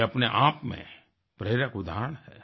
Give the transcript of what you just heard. ये अपने आप में प्रेरक उदाहरण हैं